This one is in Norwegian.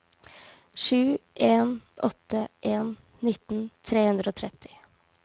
sju en åtte en nitten tre hundre og tretti